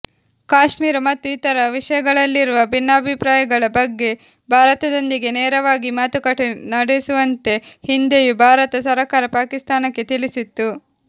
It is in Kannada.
ಕಾಶ್ಮೀರ ಮತ್ತು ಇತರ ವಿಷಯಗಳಲ್ಲಿರುವ ಭಿನ್ನಾಭಿಪ್ರಾಯಗಳ ಬಗ್ಗೆ ಭಾರತದೊಂದಿಗೆ ನೇರವಾಗಿ ಮಾತುಕತೆ ನಡೆಸುವಂತೆ ಹಿಂದೆಯೂ ಭಾರತ ಸರಕಾರ ಪಾಕಿಸ್ತಾನಕ್ಕೆ ತಿಳಿಸಿತ್ತು